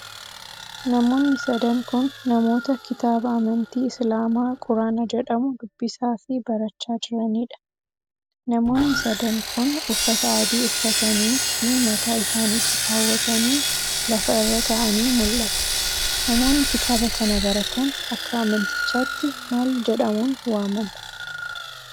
Namoonni sadan kun, namoota kitaaba amantii islaamaa quraana jedhamu dubbisaa fi barachaa jiraniidha? Namoonni sadan kun, uffata adii uffatanii fi mataa isaanitti kaawwatanii lafa irra ta'anii mul'atu. Namoonni kitaaba kana baratan, akka amantichaatti maal jedhauun waamamu?